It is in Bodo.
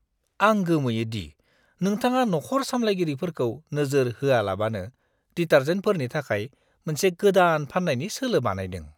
आं गोमोयो दि नोंथाङा नखर सामलायगिरिफोरखौ नोजोर होआलाबानो डिटार्जेन्टफोरनि थाखाय मोनसे गोदान फान्नायनि सोलो बानायदों!